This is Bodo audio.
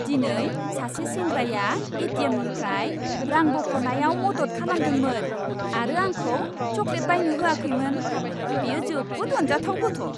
दिनै सासे सेंग्राया ए.टि.एम.निफ्राय रां बख'नायाव मदद खालामदोंमोन आरो आंखौ चकलेट बायनो होआखैमोन। बियो जोबोद अनजाथाव गथ'।